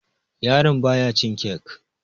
yaraon baya cin kek